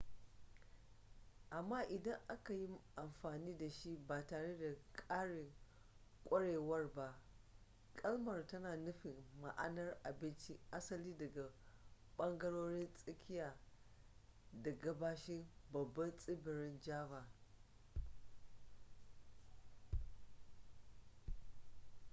amma idan aka yi amfani da shi ba tare da ƙarin ƙwarewar ba kalmar tana nufin ma'anar abinci asali daga ɓangarorin tsakiya da gabashin babban tsibirin java